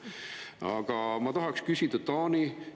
Aga ma tahaksin küsida Taani kohta.